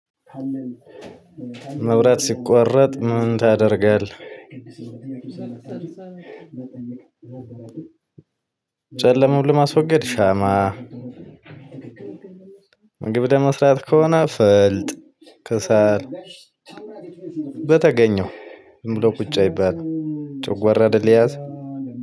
"መብራት ሲቋረጥ ምን ታደርጋለህ?" ጨለማውን ለማስወገድ ሻማ፣ ግብደ ለመስራት ከሆነ ፈልጥ፣ ክሰል፣ በተገኘው ዝም ብሎ ቁጭ አይባልም ጨጓራ አይደለም የያዝ